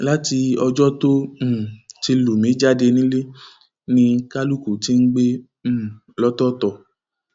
láti ọjọ tó um ti lù mí jáde nínú ilé ni kálukú ti ń gbé um lọtọọtọ